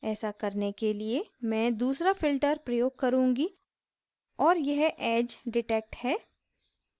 ऐसा करने के लिए मैं दूसरा filter प्रयोग करुँगी और यह edge detect है